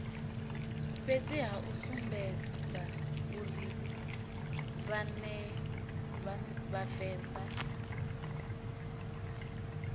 fhedziha u sumbedza uri vhavenḓa